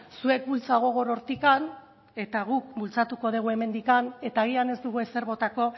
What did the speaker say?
zuek bultza gogor hortik eta guk bultzatuko dugu hemendik eta agian ez dugu ezer botako